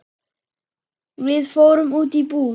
Við fórum út í búð.